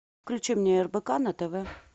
включи мне рбк на тв